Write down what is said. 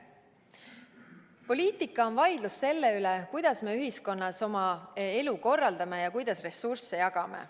Poliitika on vaidlus selle üle, kuidas me ühiskonnas oma elu korraldame ja kuidas ressursse jagama.